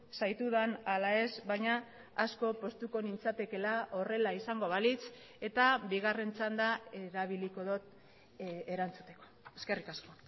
zaitudan ala ez baina asko poztuko nintzatekeela horrela izango balitz eta bigarren txanda erabiliko dut erantzuteko eskerrik asko